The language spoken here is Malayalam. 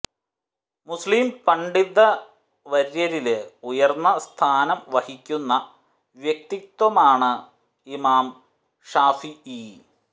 മുസ്ലിം പണ്ഡിതവര്യരില് ഉയര്ന്ന സ്ഥാനം വഹിക്കുന്ന വ്യക്തിത്വമാണ് ഇമാം ശാഫിഈ